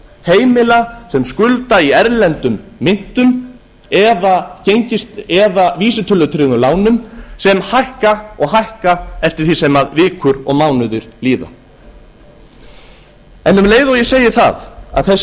heimila sem skulda í erlendum myntum eða vísitölutryggðum lánum sem hækka og hækka eftir því sem vikur og mánuðir líða um leið og ég segi það að